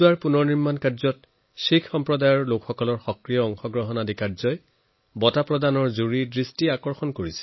জুৰিয়েও জানিছিল মেৰামতিৰ কামত শিখ সসম্প্ৰদায়ৰ মানুহে কেৱল জড়িত আছিল এনে নহয় বৰঞ্চ তেওঁলোকৰ তত্ত্বাৱধানতে সকলো কাম সম্পূৰ্ণ হয়